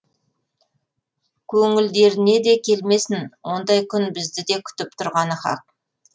көңілдеріне де келмесін ондай күн бізді де күтіп тұрғаны хақ